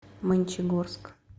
мончегорск